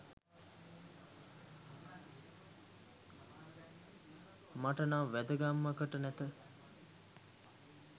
මට නම් වැදගැම්මකට නැත.